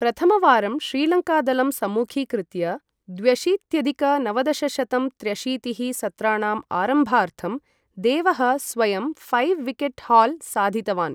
प्रथमवारं श्रीलङ्कादलं सम्मुखीकृत्य, द्व्यशीत्यधिक नवदशशतं त्र्यशीतिः सत्राणाम् आरम्भार्थं, देवः स्वयं फैव् विकेट् हाल् साधितवान्।